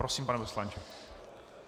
Prosím, pane poslanče.